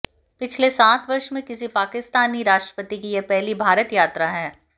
पिछले सात वर्ष में किसी पाकिस्तानी राष्ट्रपति की यह पहली भारत यात्रा है